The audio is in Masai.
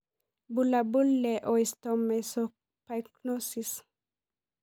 Bulabul le Osteomesopyknosis.